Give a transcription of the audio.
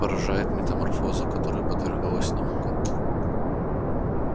поражает метаморфоза которой подверглась наука